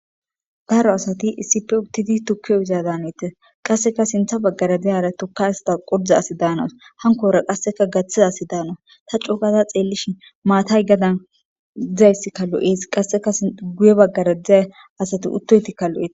daaro asati isippe itidi tukke uyiza danetes qasseka sintha baggara diyara tokka hista qordza asi daanas hankora qasseka gaththizasi daanas ta cugaza xeellishin maatay gadan dizayssi kalo7ees qasseka guye baggara dizza asati uttoytikka lo7etes